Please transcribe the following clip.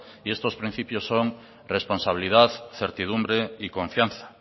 y estos principios son responsabilidad certidumbre y confianza